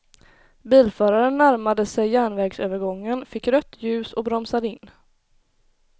Bilföraren närmade sig järnvägsövergången, fick rött ljus och bromsade in.